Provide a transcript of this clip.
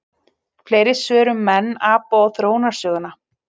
Fleiri svör um menn, apa og þróunarsöguna: